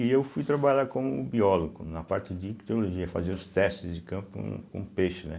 E eu fui trabalhar como biólogo na parte de ictiologia, fazer os testes de campo com peixe, né?